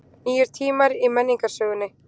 Nýir tímar í menningarsögunni